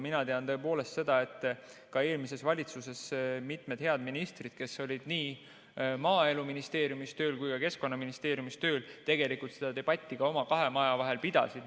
Mina tean seda, et ka eelmises valitsuses mitmed head ministrid, kes olid tööl nii Maaeluministeeriumis kui ka Keskkonnaministeeriumis, tegelikult seda debatti ka oma kahe maja vahel pidasid.